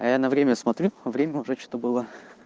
а я на время смотрю время уже что-то было